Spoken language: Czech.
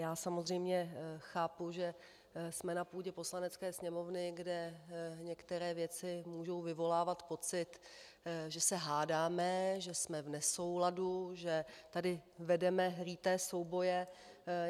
Já samozřejmě chápu, že jsme na půdě Poslanecké sněmovny, kde některé věci mohou vyvolávat pocit, že se hádáme, že jsme v nesouladu, že tady vedeme líté souboje.